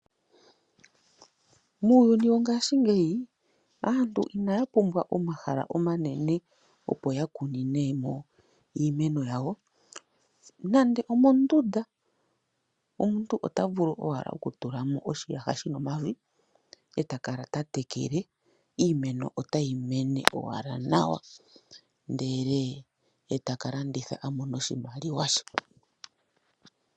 Muuyuni wongashingeyi aantu inaya pumbwa omahala omanene, opo ya kune mo iimeno yawo. Nando omondunda omuntu ota vulu owala okutula mo oshiyaha shi na omavi, e ta kala ta tekele, iimeno otayi mene owala nawa ndele e ta ka landitha a mone oshimaliwa she.